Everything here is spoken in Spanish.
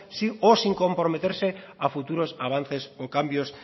o sin comprometerse a futuros avances o cambios